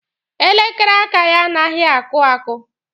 Elekere aka ya anaghị akụ akụ.